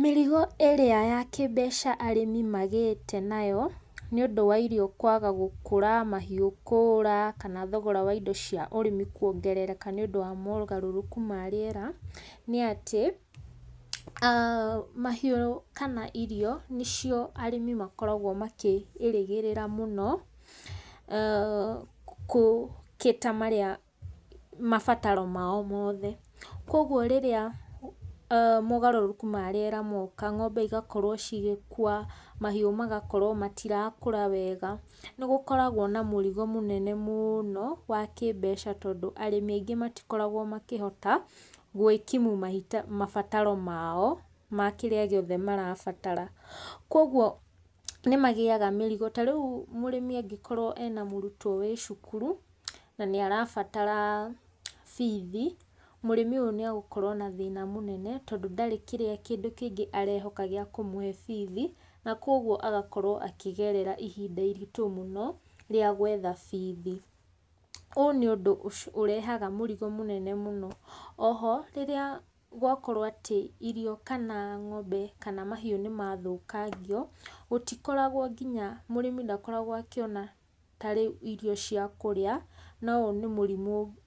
Mĩrigo ĩrĩa yakĩmbeca arĩmi magĩte nayo, nĩũndũ irio kwaga gũkũra, mahiũ kũũra, kana thogora wa indo cia ũrĩmi kwongerereka nĩũndũ wa wongerereku wa rĩera, nĩatĩ, mahiũ kana irio nĩcio arĩmi makoragwo makĩĩrĩgĩrĩra mũno, kũ cater mabataro mao mothe. Koguo rĩrĩa mogarũrũku marĩera moka, ng'ombe cigakorwo cigĩkua, mahiũ magakorwo matirakũra wega. Nĩgũkoragwo na mũrigo mũnene mũno wa kĩmbeca, tondũ arĩmi aingĩ matikoragwo makĩhota gũĩkimu mabataro mao, makĩrĩa gĩothe marabatara. Koguo nĩmagĩaga mũrigo, tarĩũ mũrĩmi angĩkorwo ena mũrutwo wĩcukuru, na nĩ aranatara bithi, mũrĩmi ũyũ nĩegũkorwo na thĩna mũnene, tondũ ndegũkorwo na kĩndũ kĩngĩ gĩakũmũhe bithi, nakoguo agakorwo akĩgerera ihinda iritũ mũno, rĩa gũetha bithi. Ũũ nĩ ũndũ ũrehaga mũrigo mũnene mũno. Oho, rĩrĩa gwakorwo atĩ, irio kana ng'ombe, kana mahiũ nĩmathũkangio, gũtikoragwo nginya, mũrĩmi ndakoragwo akĩona ngina tarĩu irio cia kũrĩa, na ũyũ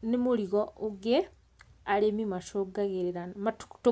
nĩ mũrigo ũngĩ arĩmi macungagĩrĩra.